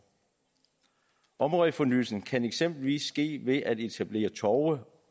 områdefornyelsen kan eksempelvis ske ved at etablere torve